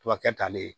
Tubabu kɛ talen